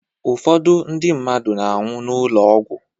Ụfọdụ ndi mmadụ na-anwụ n'ụlọ ọgwụ